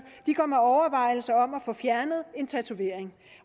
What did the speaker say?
går med overvejelser om at få fjernet en tatovering